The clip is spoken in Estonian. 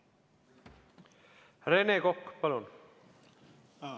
Rene Kokk, palun!